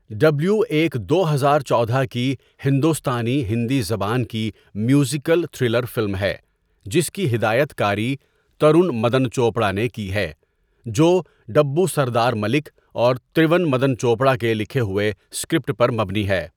W ایک دو ہزار چودہ کی ہندوستانی ہندی زبان کی میوزیکل تھرلر فلم ہے جس کی ہدایت کاری ترون مدن چوپڑا نے کی ہے، جو ڈبو سردار ملک اور ترون مدن چوپڑا کے لکھے ہوئے اسکرپٹ پر مبنی ہے۔